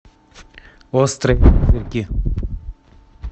острые козырьки